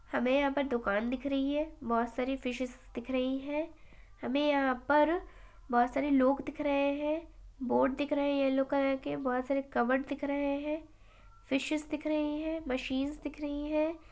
हमें यहाँ पर दुकान दिख रही है। बहुत सारी फिशेस दिख रही हैं हमें यहाँ पर बहुत सारे लोग दिख रहे हैं बोर्ड दिख रहे हैं येलो कलर के बहुत सारे कबर्ड दिख रहे हैं फिशेस दिख रही हैं मशीन्स दिख रही हैं।